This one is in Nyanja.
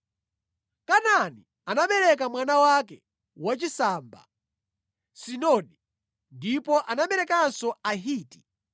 Kanaani anabereka mwana wake wachisamba, Sidoni, ndipo anaberekanso Ahiti;